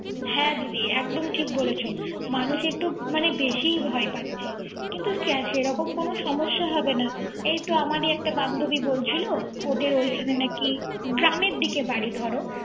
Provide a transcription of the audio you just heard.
হ্যা দিদি একদম ঠিক বলছে। মানুষ একটু বেশিই ভয় পাচ্ছে। কিন্তু সেরকম কোন সমস্যা হবে না। এই তো আমারই একটা বান্ধুবি বলছিল ওদের ওখানে নাকি। গ্রামের দিকে বাড়ি ধর